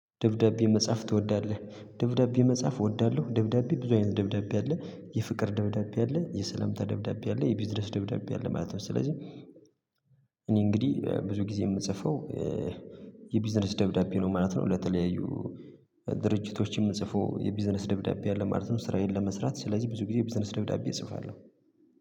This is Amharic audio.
ደብዳቤ መጻፍ ትወዳለ? ደብዳቤ መጻፍ እወዳለሁ ደብዳቤ ብዙ አይነት ደብዳቤ አለ፤ የፍቅር ደብዳቤ አለ፤ የሰላምታ ደብዳቤ አለ፤ የቢዝነስ ደብዳቤ አለ ማለት ነው ስለዚህ እኔ እንግዲህ ብዙ ጊዜ የምጽፈው የቢዝነስ ደብዳቤ ነው ማለት ነው ለተለያዩ ድርጅቶችም ምጽፈው የቢዝነስ ደብዳቤ አለ ማለት ነው። ስራዬን ለመስራት ስለዚህ ብዙ ጊዜ የቢዝነስ ደብዳቤ እጽፋለሁ።